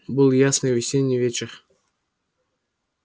был ясный весенний вечер